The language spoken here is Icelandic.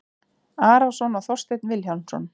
Arason og Þorstein Vilhjálmsson